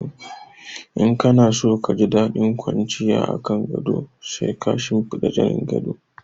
In kana so ka ji daɗin kwanciya a kan gado sai ka shinfiɗa zanin gado.